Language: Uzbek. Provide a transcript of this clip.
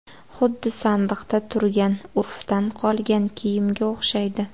Xuddi sandiqda turgan, urfdan qolgan kiyimga o‘xshaydi.